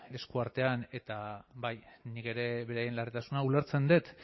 esku artean eta bai nik ere beraien larritasuna ulertzen dut